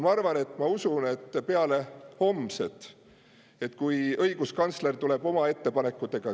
Ja ma usun, et peale homset, kui õiguskantsler tuleb oma ettepanekutega …